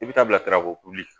I bɛ taa bila sirakoli